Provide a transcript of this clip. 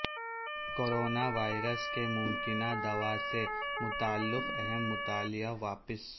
corona virus کی ممکنہ دوا سے متعلق اہم مطالعہ واپس